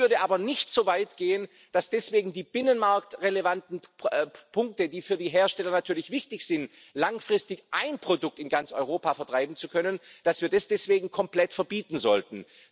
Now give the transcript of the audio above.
Ich würde aber nicht so weit gehen, dass deswegen die binnenmarktrelevanten Punkte, die für die Hersteller natürlich wichtig sind, um langfristig ein Produkt in ganz Europa vertreiben zu können, deswegen komplett verboten werden sollten.